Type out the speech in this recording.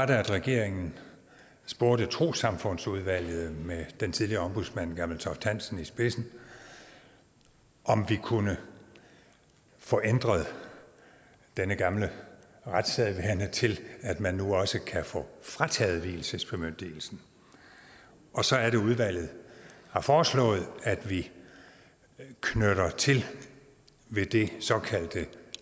det at regeringen spurgte trossamfundsudvalget med den tidligere ombudsmand hans gammeltoft hansen i spidsen om vi kunne få ændret denne gamle retssædvane til at man nu også kan få frataget vielsesbemyndigelsen og så er det at udvalget har foreslået at vi knytter til ved det såkaldte